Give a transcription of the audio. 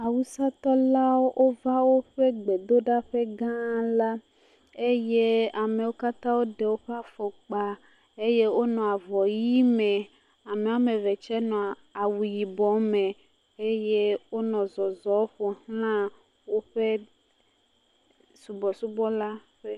Awusatɔlawo va woƒe gbɔdoɖaƒe gã la eye amewo katã ɖe woƒe afɔkpa eye wonɔ avɔʋi me ame eve tse nɔ awu yibɔ me eye wonɔ zɔzɔm ƒoxla woƒe subɔsubɔ ƒe.